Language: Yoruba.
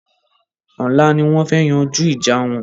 Ọlá ni wọn fẹ́ yanjú ìjà wọn